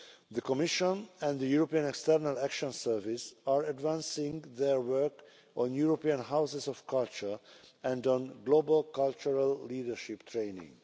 The Commission and the European External Action Service are advancing their work on European Houses of Culture and on global cultural leadership training.